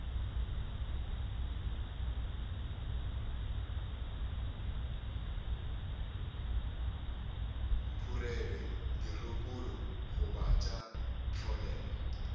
phurelwe dirokolo goba tša tlolelwa